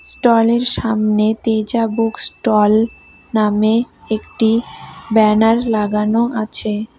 Stall - এর সামনে Teja book stall নামে একটি ব্যানার লাগানো আছে।